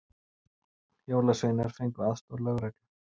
Jólasveinar fengu aðstoð lögreglu